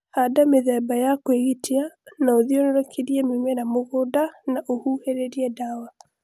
handa mĩthemba ya kwĩgitia na ũthiũrũrũkie mĩmera mũgũnda na ũhuhĩrĩlie dawa